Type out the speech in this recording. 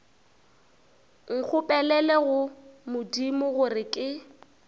nkgopelele go modimo gore ke